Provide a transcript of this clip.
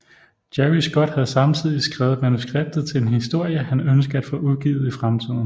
Jerry Scott havde samtidig skrevet manuskriptet til en historie han ønsker at få udgivet i fremtiden